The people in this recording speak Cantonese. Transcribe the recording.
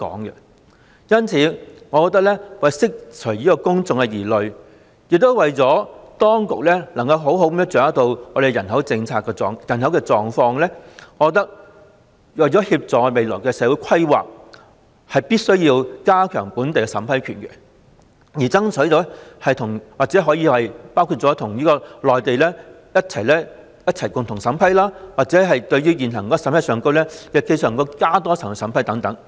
因此，為釋除公眾疑慮，亦為當局能好好掌握人口的狀況，並協助未來社會的規劃，我認為必須加強本港的審批權，例如爭取可以與內地當局一起共同審批，或在現行內地審批的基礎上多加一層審批等。